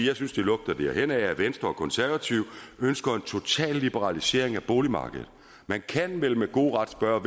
jeg synes det lugter derhenad at venstre og konservative ønsker en total liberalisering af boligmarkedet man kan vel med god ret spørge